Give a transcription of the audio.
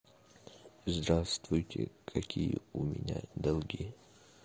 здравствуйте какие у меня долги